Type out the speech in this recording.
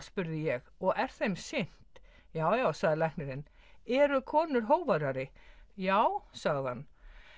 spurði ég og er þeim sinnt já já sagði læknirinn eru konur hógværari já sagði hann